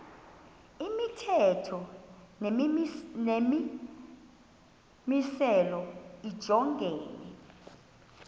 imithetho nemimiselo lijongene